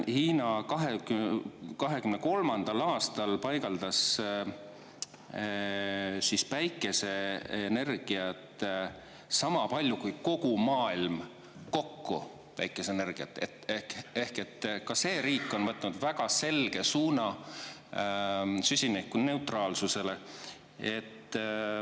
Hiina 2023. aastal paigaldas päikeseenergiat sama palju kui kogu maailm kokku päikeseenergiat, ehk et ka see riik on võtnud väga selge suuna süsinikuneutraalsusele.